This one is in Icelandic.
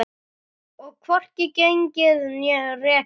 Og hvorki gengið né rekið.